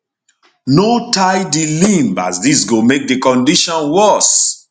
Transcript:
no tie di limb as dis go make di condition worse